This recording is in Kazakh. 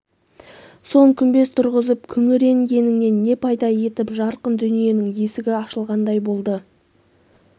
соң күмбез тұрғызып күңіренгеніңнен не пайда етіп жарқын дүниенің есігі ашылғандай болды